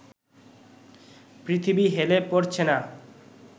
পৃথিবী হেলে পড়ছে না